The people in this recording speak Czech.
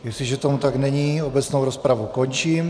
Jestliže tomu tak není, obecnou rozpravu končím.